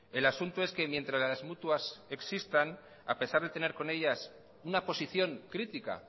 el asunto es que mientras las mutuas existan a pesar de tener con ellas una posición crítica